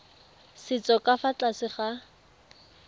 setso ka fa tlase ga